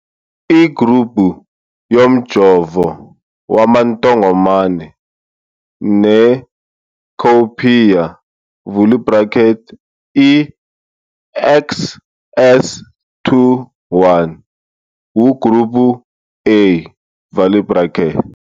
Igruphu yomjovo wamantongomane ne-Cowpea, vula i-bracket, i-XS21 ugruphu A, vala i-bracket.